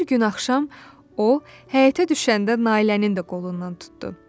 Bir gün axşam o, həyətə düşəndə Nailənin də qolundan tutdu.